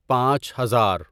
پانچ ہزار